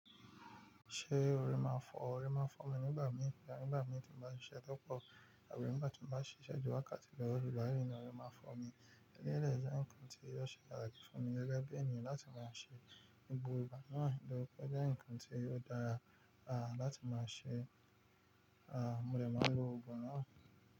Ṣé o rí máa ń fọ́? O rí máa ń fọ́ mi nígbà mìí, àbí nígbà mìí tí mo bá ń ṣiṣẹ́ tó pọ̀, àbí nígbà tí mo bá ń ṣiṣẹ́ ju wákàtí lọ, òri ígbáyìí ni órí máa ń fọ́ mi. Eléyii jẹ́ okan tí yóò ṣe patski fún mi gẹ́gẹ́ bí ènìyàn láti máa ṣe ibùba náà, lò jẹ́ bi nǹkan tí ó dára, láti máa ṣe, à mo dẹ̀ máa lo oògùn náà.